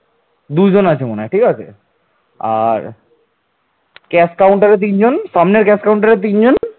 দুইজন আছে মনে হয় ঠিক আছে আর cash counter তিনজন সামনের cash counter তিনজন